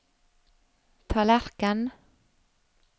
tallerken